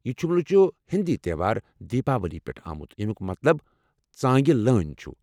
یہ جملہٕ چھُ ہیٚنٛدی تہوار دیپاولی پیٚٹھٕہ آمُت، یمُیٚک مطلب "ژٲنگہِ لٲنۍ "چھُ ۔